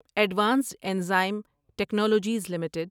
advanced Enzyme Technologies limited